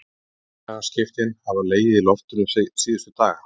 Félagaskiptin hafa legið í loftinu síðustu daga.